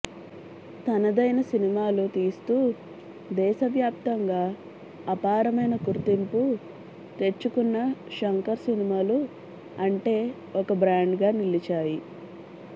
తనదైన సినిమాలు తీస్తూ దేశ వ్యాప్తంగా అపారమైన గుర్తింపు తెచ్చుకున్న శంకర్ సినిమాలు అంటే ఒక బ్రాండ్ గా నిలిచాయి